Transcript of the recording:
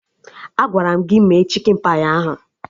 Agwara m gị mee chikin pai ahụ!